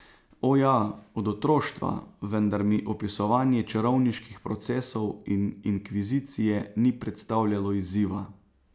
O, ja, od otroštva, vendar mi opisovanje čarovniških procesov in inkvizicije ni predstavljalo izziva.